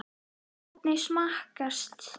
Hvernig smakkast?